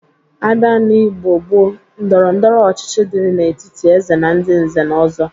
A bia n'Igbo gboo, ndọrọndọrọ ọchịchị dịri n'etiti Eze na ndị nze na ọzọ,